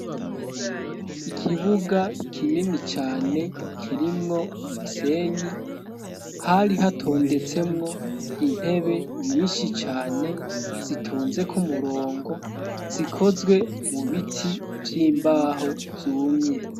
Ikibuga kinini cane kirimwo umusenyi hari hatondetsemwo intebe nyinshi cane zitonze k'umurongo zikozwe mu biti vy'imbaho vyumye.